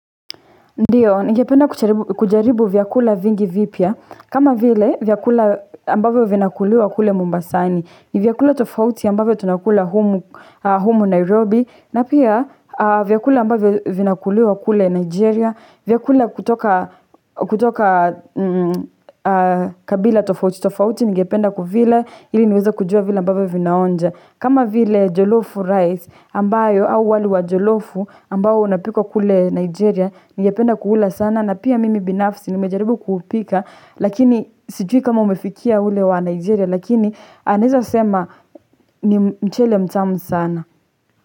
Ndiyo, nigependa kujaribu vyakula vingi vipya. Kama vile, vyakula ambavyo vinakuliwa kule Mombasani. Vyakula tofauti ambavyo tunakula humu Nairobi. Na pia, vyakula ambavyo vinakuliwa kule Nigeria. Vyakula kutoka kabila tofauti. Tofauti ningependa kuvila. Ili niweze kujua vile ambavyo vinaonja. Kama vile Jolofu Rice. Ambayo, au wali wa Jolofu ambao unapikwa kule Nigeria. Ningependa kuula sana na pia mimi binafsi nimejaribu kuupika Lakini sijui kama umefikia ule wa Nigeria lakini naeza sema ni mchele mtamu sana.